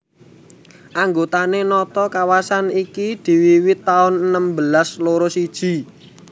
Anggone nata kawasan iki diwiwiti taun enem belas loro siji